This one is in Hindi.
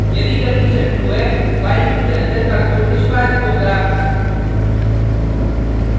यदि कंडिशन true है while लूप के अंदर का कोड निष्पादित होगा